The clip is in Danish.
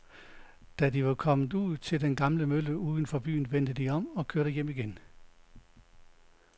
Da de var kommet ud til den gamle mølle uden for byen, vendte de om og kørte hjem igen.